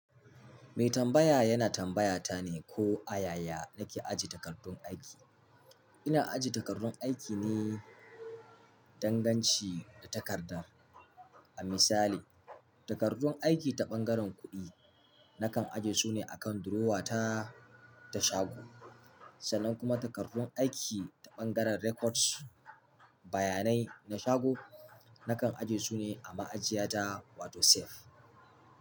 Mai tambaya yana tambaya ta ne ko ayaya nake ajiye takardun aiki. Ina ajiye takardun aiki ne danganci da takarda. A misali, takardun aiki ta ɓangaren kuɗi nakan ajiye su ne a kan durowa ta, ta shago. Sannan kuma takardun aiki ta ɓangaren records, bayanai na shago nakan ajiye su ne a ma'ajiya ta wato safe.